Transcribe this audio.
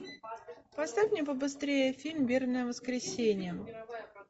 поставь мне побыстрее фильм вербное воскресенье